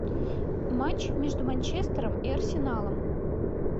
матч между манчестером и арсеналом